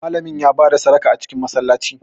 Malamin ya ba da sadaka a cikin Masallaci